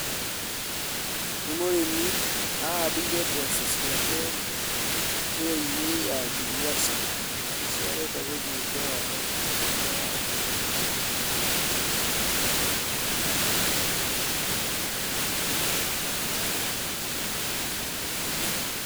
Nĩ murĩmi na ahandĩire mbocociake tray -inĩ ya ngirigaca na nĩcio arenda kũhanda mũgunda wake.